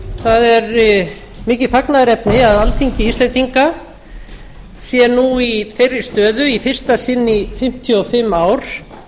það er mikið fagnaðarefni að alþingi íslendinga sé nú í þeirri stöðu í fyrsta sinn í fimmtíu og fimm ár